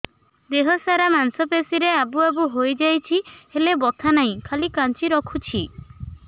ଦେହ ସାରା ମାଂସ ପେଷି ରେ ଆବୁ ଆବୁ ହୋଇଯାଇଛି ହେଲେ ବଥା ନାହିଁ ଖାଲି କାଞ୍ଚି ରଖୁଛି